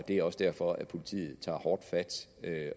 det er også derfor at politiet tager hårdt fat